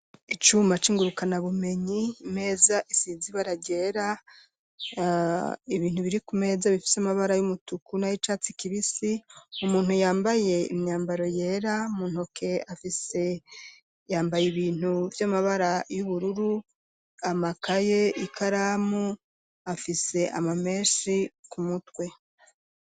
Icuma c'ingurukana bumenyi, imeza isize ibara ryera, ibintu biri ku meza bifise amabara y'umutuku na y'icatsi kibisi, umuntu yambaye imyambaro yera mu ntoke afise yambaye ibintu vy'amabara y'ubururu, amakaye ikaramu, afise amameshi ku mutwe.